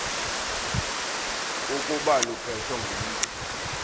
ukuba luphethwe ngumntu